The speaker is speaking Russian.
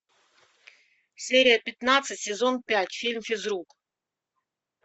серия пятнадцать сезон пять фильм физрук